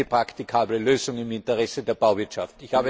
Das ist eine praktikable Lösung im Interesse der Bauwirtschaft.